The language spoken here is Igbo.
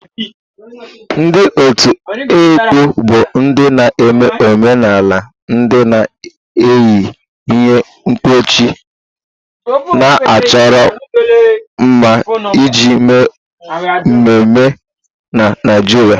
Ndị otu ekpo bụ ndị na-eme omenala ndị na-eyi ihe mkpuchi na-achọro mma iji mee emume na Naijiria.